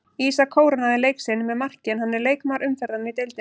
Ísak kórónaði leik sinn með marki en hann er leikmaður umferðarinnar í deildinni.